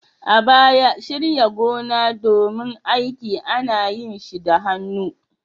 A baya, shirya gona domin aiki ana yin shi da hannu.